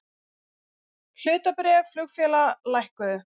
Hlutabréf flugfélaga lækkuðu